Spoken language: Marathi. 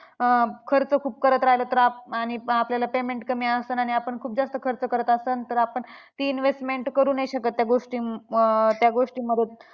खर्च खूप करत राहिलो तर आणि आपल्याला payment कमी आसन आणि आपण खूप जास्त खर्च करत आसन तर आपण ती investment करू नाही शकत त्या गोष्टी अं त्या गोष्टीमधून.